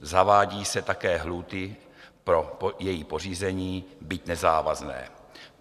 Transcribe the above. Zavádí se také lhůty pro její pořízení, byť nezávazné.